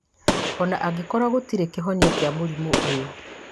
ona angĩkorwo gũtirĩ kĩhonia kĩa mũrimũ ũyũ